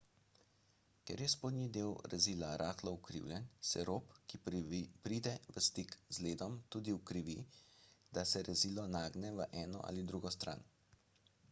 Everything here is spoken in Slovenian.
ker je spodnji del rezila rahlo ukrivljen se rob ki pride v stik z ledom tudi ukrivi ko se rezilo nagne v eno ali drugo stran